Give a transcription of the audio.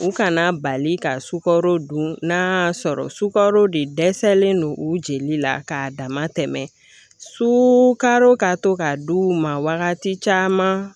U kana bali ka sukaro dun n'a y'a sɔrɔ sukarode dɛsɛlen don u jeli la k'a dama tɛmɛ sukaro ka to ka d'u ma wagati caman